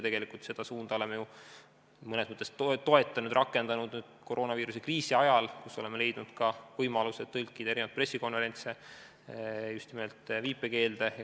Tegelikult seda suunda me oleme mõnes mõttes toetanud ja rakendanud ka koroonaviiruse kriisi ajal, kui oleme leidnud võimaluse tõlkida pressikonverentse just nimelt viipekeelde.